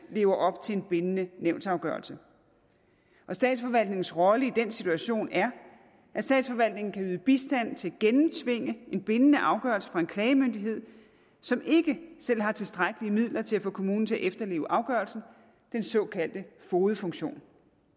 lever op til en bindende nævnsafgørelse statsforvaltningens rolle i den situation er at statsforvaltningen kan yde bistand til at gennemtvinge en bindende afgørelse fra en klagemyndighed som ikke selv har tilstrækkelige midler til at få kommunen til at efterleve afgørelsen den såkaldte fogedfunktion